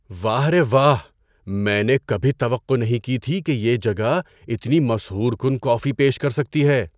واہ رے واہ! میں نے کبھی توقع نہیں کی تھی کہ یہ جگہ اتنی مسحور کن کافی پیش کر سکتی ہے۔